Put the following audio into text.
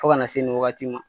Fo ka na se nin wagati ma.